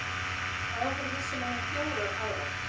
Áður vissu menn um fjórar aðrar